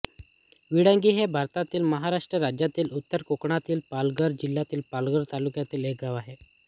विळंगी हे भारतातील महाराष्ट्र राज्यातील उत्तर कोकणातील पालघर जिल्ह्यातील पालघर तालुक्यातील एक गाव आहे